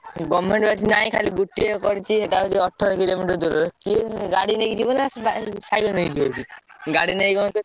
Government ବା ଏଠି ନାହିଁ ଖାଲି ଗୋଟିଏ କରିଚି ସେଟା ହଉଛି ଅଠର କିଲୋମିଟର ଦୂରରେ କିମିତି ଗାଡି ନେଇକି ଯିବୁ ନା ସାଇକେଲ ନେଇକି ଯିବୁ ଗାଡି ନେଇ ଗଲେ ତ,